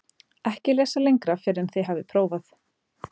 EKKI LESA LENGRA FYRR EN ÞIÐ HAFIÐ PRÓFAÐ